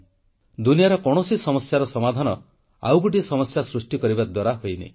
ଦୁନିଆର କୌଣସି ସମସ୍ୟାର ସମାଧାନ ଆଉ ଗୋଟିଏ ସମସ୍ୟା ସୃଷ୍ଟି କରିବା ଦ୍ୱାରା ହୋଇନି